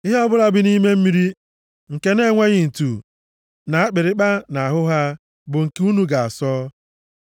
Ihe ọbụla bi nʼime mmiri nke na-enweghị ntu na akpịrịkpa nʼahụ ha, bụ nke unu ga-asọ asọ.